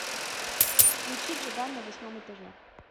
включи джиган на восьмом этаже